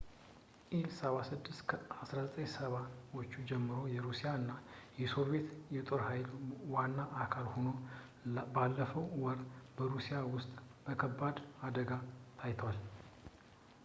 ኢል-76 ከ1970 ዎቹ ጀምሮ የሩሲያ እና የሶቪዬት ጦር ኃይል ዋና አካል ሆኖ ባለፈው ወር በሩሲያ ውስጥ በከባድ አደጋ ታይቷል